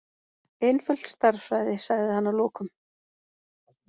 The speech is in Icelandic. Einföld stærðfræði, sagði hann að lokum.